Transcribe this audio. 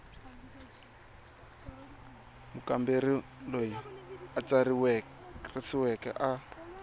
mukamberi loyi a tsarisiweke a